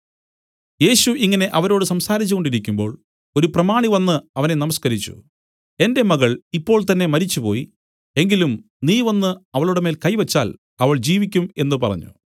യേശു ഇങ്ങനെ അവരോട് സംസാരിച്ചു കൊണ്ടിരിക്കുമ്പോൾ ഒരു പ്രമാണി വന്നു അവനെ നമസ്കരിച്ചു എന്റെ മകൾ ഇപ്പോൾ തന്നേ മരിച്ചുപോയി എങ്കിലും നീ വന്നു അവളുടെമേൽ കൈ വെച്ചാൽ അവൾ ജീവിക്കും എന്നു പറഞ്ഞു